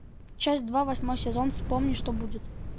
часть два восьмой сезон вспомни что будет